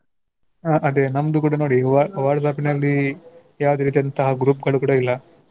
ಹ ಅದೇ ನಮ್ದು ಕೂಡ ನೋಡಿ Wha~ WhatsApp ನಲ್ಲಿ ಯಾವ್ದ್ ಇರತ್ತೆ ಅಂತ group ಗಳು ಇಲ್ಲ.